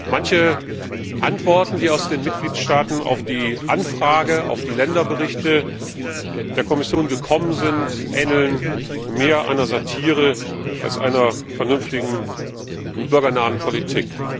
Manche Antworten, die aus den Mitgliedstaaten auf die Anfrage, auf die Länderberichte der Kommission gekommen sind, ähneln mehr einer Satire als einer vernünftigen und bürgernahen Politik.